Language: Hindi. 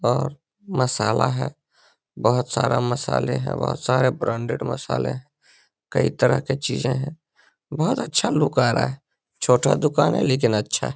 और मसाला है बहुत सारा मसाले है। बहुत सारे ब्रांडेड मसाले है। कई तरह के चीज़े है। बोहोत अच्छा लुक आ रहा है। छोटा दुकान है लेकिन अच्छा है।